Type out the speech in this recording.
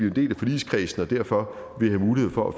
en del af forligskredsen og derfor vil have mulighed for